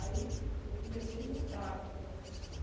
Aí eu comecei mudar de profissão.